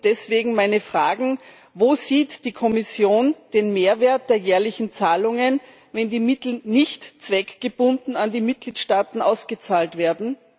Deswegen stelle ich meine Fragen Wo sieht die Kommission den Mehrwert der jährlichen Zahlungen, wenn die Mittel nicht zweckgebunden an die Mitgliedstaaten ausgezahlt werden?